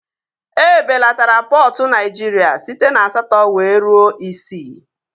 E belatara pọtụ Naịjirịa site na asatọ wee ruo isii